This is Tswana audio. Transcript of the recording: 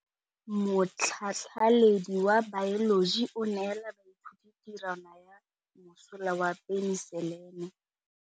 Motlhatlhaledi wa baeloji o neela baithuti tirwana ya mosola wa peniselene.